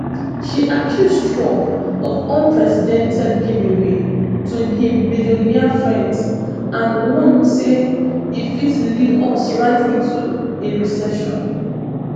she accuse trump of unprecedented giveaway to im billionaire friends and warn say e fit lead us right into a recession